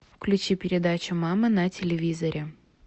включи передачу мама на телевизоре